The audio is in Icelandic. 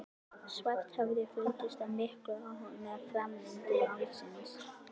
Svarthöfði fylgdist af miklum áhuga með framvindu málsins.